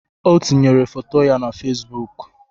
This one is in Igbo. O tinyere foto ya na fesbụụk.